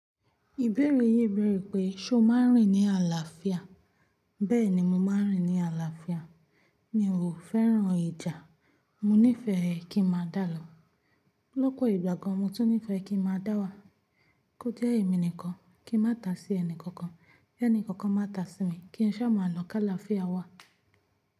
Ìbéèrè yìí bẹ̀rẹ̀ pé, ṣo máa ń rìn ní àlàáfíà? Bẹ́ẹ̀ni, mo máa ń rìn ní àlàáfíà. Mi ò fẹ́ràn ìjà. Mo nífẹ́ ẹ kí n máa dá lọ. Lọ́pọ̀ ìgbà gan, mo tún nífẹ́ kí n máa dá wà. Kó jẹ́ èmi nìkan, kí n má tá sí ẹnì kankan, kẹni kankan má tá sí mi, kí n ṣá máa lọ ká làáfíà wá.